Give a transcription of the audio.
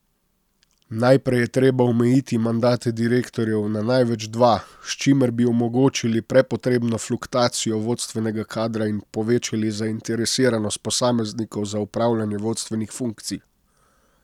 Najprej je treba omejiti mandate direktorjev na največ dva, s čimer bi omogočili prepotrebno fluktuacijo vodstvenega kadra in povečali zainteresiranost posameznikov za opravljanje vodstvenih funkcij.